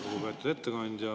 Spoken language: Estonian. Lugupeetud ettekandja!